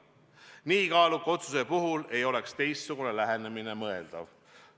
Nii kaaluka otsuse puhul ei oleks teistsugune lähenemine mõeldav.